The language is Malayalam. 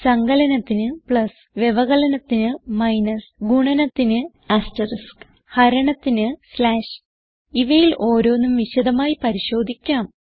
സങ്കലനത്തിന് പ്ലസ് വ്യവകലനത്തിന് മൈനസ് ഗുണനത്തിന് ആസ്റ്ററിസ്ക് ഹരണത്തിന് സ്ലാഷ് ഇവയിൽ ഓരോന്നും വിശദമായി പരിശോധിക്കാം